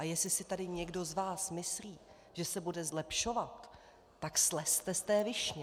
A jestli si tady někdo z vás myslí, že se bude zlepšovat, tak slezte z té višně.